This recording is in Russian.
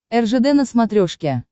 ржд на смотрешке